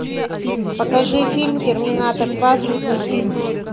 покажи фильм терминатор два судный день